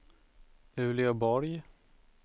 Uleåborg